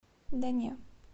да не